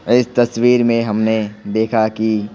इस तस्वीर में हमने देखा कि--